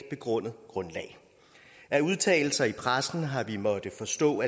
begrundet grundlag af udtalelser i pressen har vi måttet forstå